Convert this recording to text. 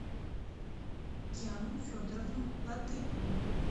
янну федоровну латыпову